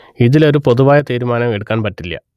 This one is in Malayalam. ഇതില് ഒരു പൊതുവായ തീരുമാനം എടുക്കാന്‍ പറ്റില്യ